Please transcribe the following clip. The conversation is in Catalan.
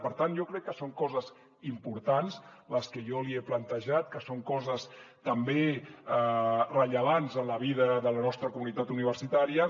per tant jo crec que són coses importants les que jo li he plantejat que són coses també rellevants en la vida de la nostra comunitat universitària